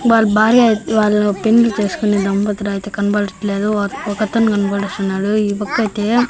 వాళ్ల భార్య అయితే వాళ్ల పెళ్లి చేసుకునే దంపతుల అయితే కనబడట్లేదు ఓ ఒకతను కనబడుస్తున్నాడు ఈ పక్కయితే--